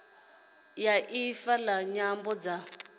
ya ifa la nyambo dza